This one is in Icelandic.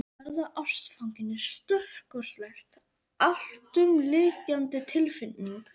Að verða ástfanginn er stórkostleg, alltumlykjandi tilfinning.